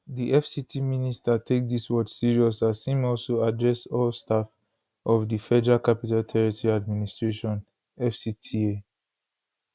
di fct minister take dis word serious as im also address all staff of di federal capital territory administration fcta